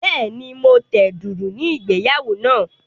Bẹ́ẹ̀ni, mo tẹ dùùrù ní ìgbéyàwó náà.